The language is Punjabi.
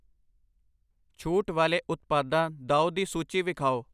ਛੂਟ ਵਾਲੇ ਉਤਪਾਦਾ ਦਾਉ ਦੀ ਸੂਚੀ ਵੇਖਾਉ I